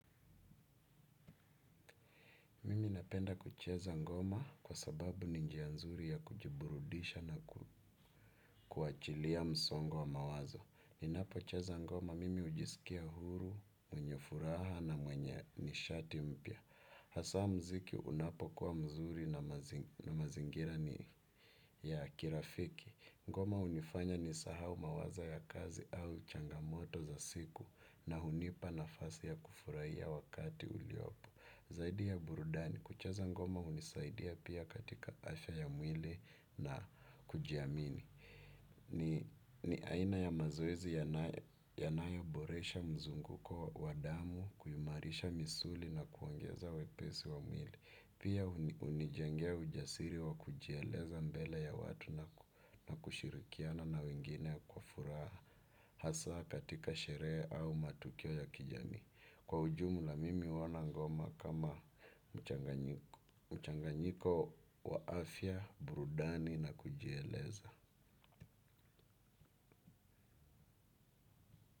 Mimi napenda kucheza ngoma kwa sababu ni njia nzuri ya kujiburudisha na kuachilia msongo wa mawazo. Ninapo cheza ngoma mimi hujisikia huru, mwenye furaha na mwenye nishati mpya. Hasa mziki unapokuwa mzuri na mazingira ni ya kirafiki. Ngoma hunifanya nisahau mawazo ya kazi au changamoto za siku na hunipa nafasi ya kufurahia wakati uliopo. Zaidi ya burudani, kucheza ngoma hunisaidia pia katika afya ya mwili na kujiamini. Ni aina ya mazoezi yanayoboresha mzunguko wa damu, kuiumarisha misuli na kuongeza wepesi wa mwili. Pia hunijengea ujasiri wa kujieleza mbele ya watu na kushirikiana na wengine kwa furaha. Hasa katika sherehe au matukio ya kijamii kwa ujumla mimi huona ngoma kama mchanganyiko wa afya, burudani na kujieleza.